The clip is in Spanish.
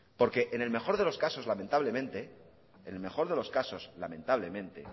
porque en el mejor de los casos lamentablemente